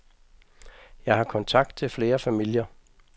Jeg har kontakt til flere familier.